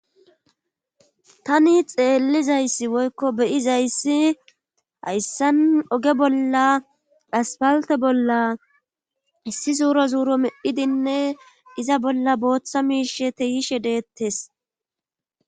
Tani xeellizayssi woykko beyizayssi hayssan oge bolla aspalte bolla hissi zuuro zuuro medhidinne iza bolla booththa miishe teyishe deettes.